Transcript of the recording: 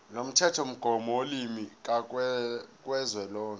lomthethomgomo wolimi kazwelonke